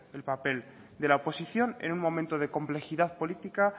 el papel de la oposición en un momento de complejidad política